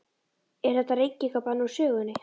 Er þetta reykingabann úr sögunni?